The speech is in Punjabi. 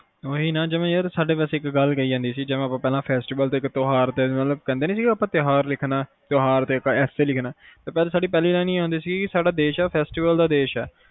ਓਹੀ ਨਾ ਜਿਵੇ ਯਾਰ ਸਾਡੇ ਇਕ ਗੱਲ ਕਹਿ ਜਾਂਦੀ ਸੀ ਕੇ festival ਤੇ ਤਿਓਹਾਰ ਲਿਖਣਾ ਤਿਓਹਾਰ ਇਕ essay ਲਿਖਣਾ ਸਾਡੀ ਪਹੇਲੀਲੀਨੇ ਹੀ ਹੁੰਦੀ ਸੀ ਕੇ ਸਾਡਾ ਦੇਸ਼ ਆ festival ਦਾ ਦੇਸ਼ ਆ